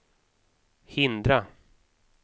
hindra